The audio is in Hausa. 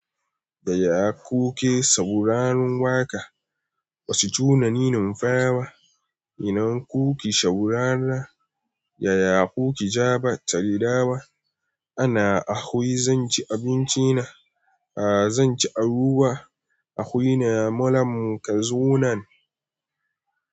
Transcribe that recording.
Yaya kuke sauraron waƙa? Ba su tunani numfawa. Ina kuke saurara yaya kuke jaɓa tariɗawa? Ana ahwi zan ci abinci na. A'a zan ci abubuwa. A huna malam ka zo nan.